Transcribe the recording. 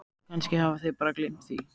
Kannski hafa þeir bara gleymt því.